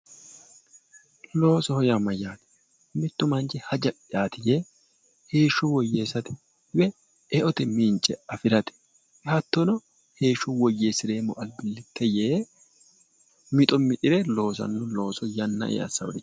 Loosoho yaa mayate ,mitu manchi haja'yati yee heeshsho woyyeesate eote mince afirate hatttono heeshsho woyyeesireemmo albilite yee mitto mixire loosanno yanna